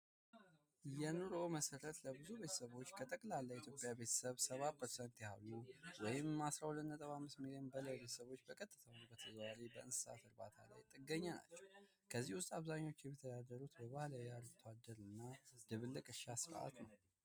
የኑሮ መሰረት ለብዙ ከጠቅላላ የኢትዮጵያ ቤተሰቦች ከ70% በላይ ወይም ከ12.5 ሚሊዮን በላይ በቀጥታም ይሁን በተዘዋዋሪ በእንስሳት እርባታል ላይ ጥገኛ ናቸው ከዚህም ውስጥ አብዛኞቹ የሚተዳደሩት በአርብቶ አደር እና በድብልቅ እርሻ ስርዓት ነው።